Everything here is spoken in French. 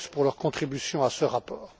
Fox pour leur contributions à ce rapport.